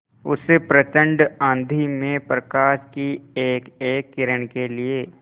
उस प्रचंड आँधी में प्रकाश की एकएक किरण के लिए